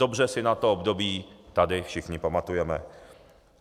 Dobře si na to období tady všichni pamatujeme.